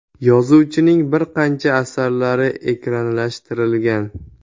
Yozuvchining bir qancha asarlari ekranlashtirilgan.